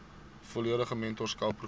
volledige mentorskap program